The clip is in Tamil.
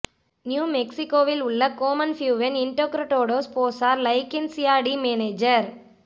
நியூ மெக்ஸிகோவில் உள்ள கோமன் ப்யூவென் இன்டோக்ரடோடோஸ் போஸார் லைகென்சியா டி மேனேஜர்